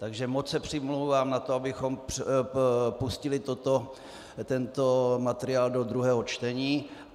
Takže moc se přimlouvám za to, abychom pustili tento materiál do druhého čtení.